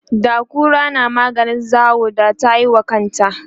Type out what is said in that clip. da kura na maganin zawo da tayiwa kanta